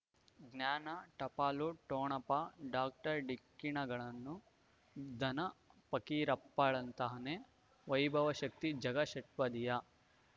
ಜ್ಞಾನ ಟಪಾಲು ಠೊಣಪ ಡಾಕ್ಟರ್ ಢಿಕ್ಕಿ ಣಗಳನು ಧನ ಫಕೀರಪ್ಪ ಳಂತಾನೆ ವೈಭವ್ ಶಕ್ತಿ ಝಗಾ ಷಟ್ಪದಿಯ